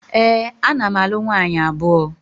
Ee, ana m alụ nwaanyị abụọ